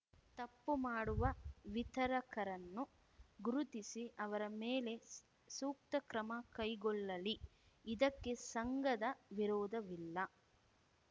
ತಪ್ಪು ಮಾಡುವ ವಿತರಕರನ್ನು ಗುರುತಿಸಿ ಅವರ ಮೇಲೆ ಸು ಸೂಕ್ತ ಕ್ರಮ ಕೈಗೊಳ್ಳಲಿ ಇದಕ್ಕೆ ಸಂಘದ ವಿರೋಧವಿಲ್ಲ